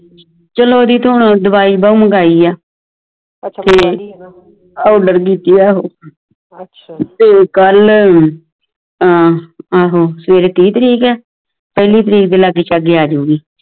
ਚਲੋ ਉਡਦੀ ਤੋਂ ਹੁਣ ਦਵਾਈ ਉਹ ਮੰਗਵਾਈ ਹੈ order ਕੀਤੀ ਆ ਉਹ ਤੇ ਕਲ ਆਹ ਆਹੋ ਸਵੈਰੇ ਤਿਹ ਤਰੀਕ ਹੈ ਪਹਿਲੀ ਤਾਰਿਕ ਦੇ ਲਗੇ ਚਾਗੇ ਆਜੁਗੀ।